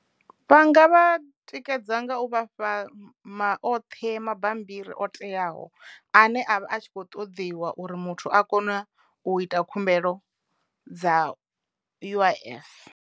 Vhanga vha tikedza nga u vhafha ma oṱhe mabambiri o teaho ane avha a tshi kho ṱoḓiwa uri muthu a kona u ita khumbelo dza U_I_F.